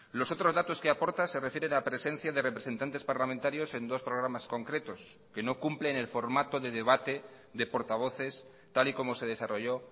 los otros datos que aporta se refieren a presencia de representantes parlamentarios en dos programas concretos que no cumplen el formato de debate de portavoces tal y como se desarrollo